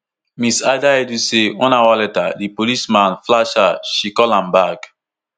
mrs adaidu say one hour later di policeman flash her she call am back